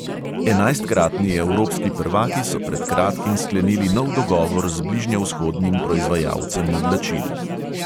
Enajstkratni evropski prvaki so pred kratkim sklenili nov dogovor z bližnjevzhodnim proizvajalcem oblačil.